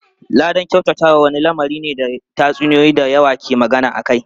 Ladan kyautatawa wani lamari ne da tatsuniyoyi da yawa ke magana akai.